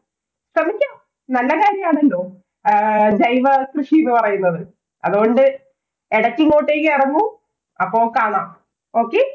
നല്ല കാര്യം ആണല്ലോ ആഹ് ജൈവ കൃഷി എന്ന് പറയുന്നത്. അതുകൊണ്ട് എടയ്ക്കു ഇങ്ങോട്ടേക്കു ഇറങ്ങൂ അപ്പൊ കാണാം. okay